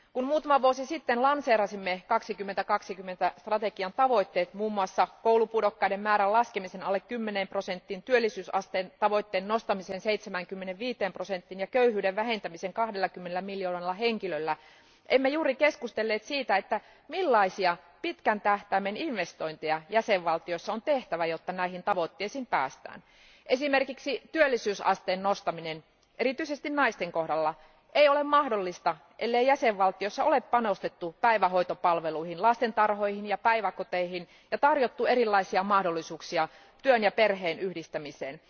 Kun muutama vuosi sitten lanseerasimme Eurooppa 2020 strategian tavoitteet, muun muassa koulupudokkaiden määrän laskemisen alle 10 prosenttiin, työllisyysasteen tavoitteen nostamisen 75 prosenttiin ja köyhyyden vähentämisen 20 miljoonalla henkilöllä, emme juuri keskustelleet siitä, millaisia pitkän tähtäimen investointeja jäsenvaltioissa on tehtävä, jotta näihin tavoitteisiin päästään. Esimerkiksi työllisyysasteen nostaminen, erityisesti naisten kohdalla, ei ole mahdollista, ellei jäsenvaltioissa ole panostettu päivähoitopalveluihin, lastentarhoihin ja päiväkoteihin ja tarjottu erilaisia mahdollisuuksia työn ja perheen yhdistämiseen.